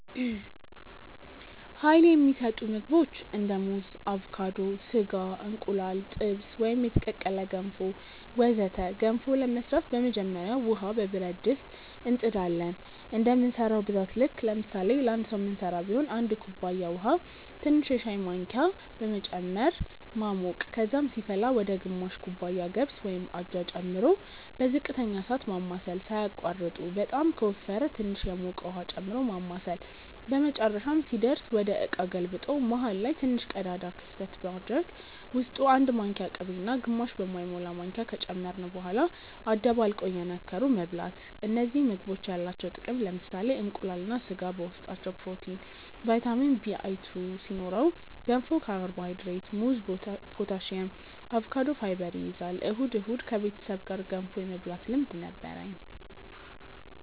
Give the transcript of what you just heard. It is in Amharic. Uይል የሚሰጡ ምግቦች እንደ ሙዝ አቮካዶ፣ ስጋ፣ እንቁላል ጥብስ ወይም የተቀቀለ፣ ገንፎ ወዘተ ገንፎ ለመስራት በመጀመሪያ ውሃ በብረት ድስት እንጥ ዳለን እንደምንሰራው ብዛት ልክ ለምሳሌ ለአንድ ሰዉ ምንስራ ቢሆን 1 ኩባያ ውሃ ትንሽ የሻይ ማንኪያ በመጨመር ማሞቅ ከዛም ሲፈላ ወደ ግማሽ ኩባያ ገብስ (አጃ) ጨምሮ በዝቅተኛ እሳት ማማሰል ሳያቋርጡ በጣም ከወፈረ ትንሽ የሞቀ ውሃ ጨምሮ ማማሳል በመጨረሻም ሲደርስ ወደ እቃ ገልብጦ መሃል ላይ ትንሽ ቀዳዳ ክፍተት በማድረግ ውስጡ 1 ማንኪያ ቅቤ እና ግማሽ በማይሞላ ማንኪያ ከጨመርን በኋላ አደባልቆ እየነከሩ መብላት እነዚህ ምግቦች ያላቸው ጥቅም ለምሳሌ እንቁላል እና ስጋ በውስጣቸው ፕሮቲን፣ ቫይታሚን Bl2 ሲኖረው ገንፎ ካርቦሃይድሬት፣ ሙዝ ፖታሲየም፣ አቮካዶ ፋይበር ይይዛል። እሁድ እሁድ ከቤተሰብ ጋር ገንፎ የመብላት ልምድ ነበርኝ